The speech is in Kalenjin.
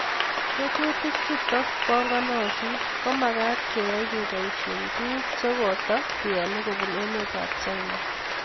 Tetutik chutak panganit komakt keyai kepoishe tuguk chekotokeale kupun emet ab china.